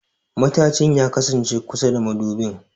Matajin ya kasance kusa da madubin.